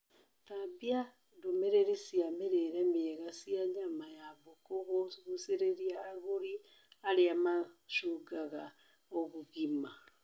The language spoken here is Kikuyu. Tambia ndũmĩrĩri cia mĩrĩre mĩega cia nyama ya mbũkũ kũgucĩrĩria agũri arĩa mashungaga ũgima